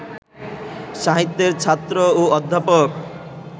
সাহিত্যের ছাত্র ও অধ্যাপক